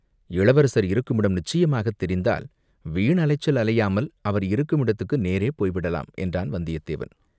"இளவரசர் இருக்குமிடம் நிச்சயமாகத் தெரிந்தால் வீண் அலைச்சல் அலையாமல் அவர் இருக்குமிடத்துக்கு நேரே போய்விடலாம்" என்றான் வந்தியத்தேவன்.